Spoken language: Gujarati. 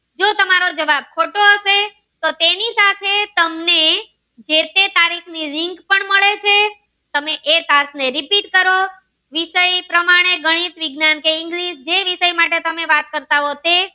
તમારો જવાબ ખોટો હશે તો તેની સાથે તમને જે તે તારીખ ની link પણ મળે છે તમે એ પાથ ને repeat કરો વિસય પ્રમાણે ગણિક વિજ્ઞાન કે english જે વિસય માટે તમે વાત કરતા હો તે